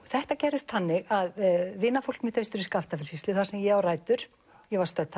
þetta gerðist þannig að vinafólk mitt austur í Skaftafellssýslu þar sem ég á rætur ég var stödd